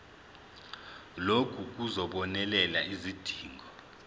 lokhu kuzobonelela izidingo